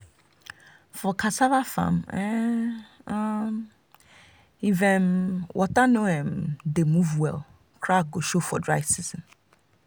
for cassava farm um um if um water no um dey move well crack go show for dry season.